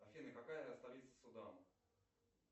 афина какая столица судана